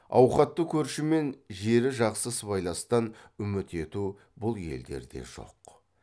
ауқатты көрші мен жері жақсы сыбайластан үміт ету бұл елдерде жоқ